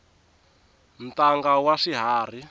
ntanga wa swiharhi